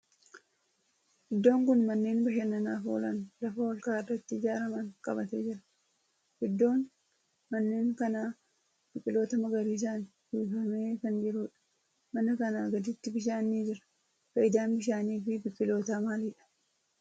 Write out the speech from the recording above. Iddoon kun manneen bashannanaaf oolan lafa olka'aa irratti ijaaraman qabatee jira. Iddoon manneen kanaa biqiltoota magariisan uwwifamee kan jirudha. Mana kanaa gaditti bishaan ni jira. Faayidaan bishaani fi biqiltootaa maalidha?